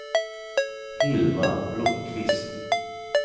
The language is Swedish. Hilma Blomqvist